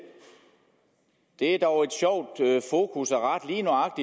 det er dog sjovt